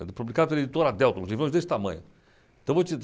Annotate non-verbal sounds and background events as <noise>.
<unintelligible> publicado pela editora Delta, um livro desse tamanho.